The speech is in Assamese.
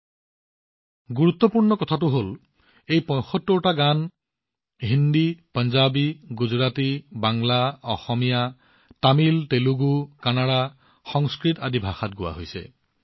তাতোকৈও বিশেষ কথাটো হল এই ৭৫টা গান হিন্দী পাঞ্জাৱী গুজৰাটী বাংলা অসমীয়া তামিল তেলেগু কানাড়া আৰু সংস্কৃত আদি ভাষাত গোৱা হৈছিল